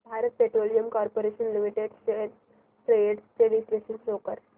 Bharat Petroleum Corporation Limited shares trends चे विश्लेषण show कर